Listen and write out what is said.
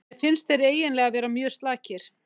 Mér finnst þeir eiginlega vera mjög slakir.